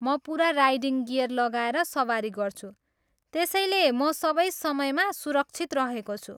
म पुरा riding gear लगाएर सवारी गर्छु, त्यसैले म सबै समयमा सुरक्षित रहेको छु।